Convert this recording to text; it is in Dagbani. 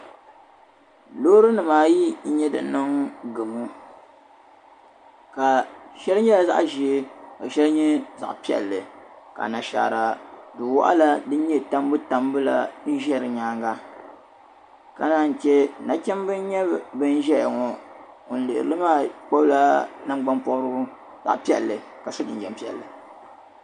Loori nima ayi n-nye din niŋ gamu ka sheil nyela zaɣ' zee ka sheil nye zaɣ' pelli ka nashaara duwaɣala din nye tambu tambu la nzei dinyaanga ka naai che na chimda n nye bin zeyaŋo ŋun lihiri maa gbibla nangban pobrigu zaɣ' pelli kasi jinjam pelli.